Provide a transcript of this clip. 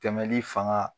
Tɛmɛli fanga